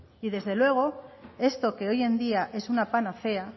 y desde luego esto que hoy en día es una panacea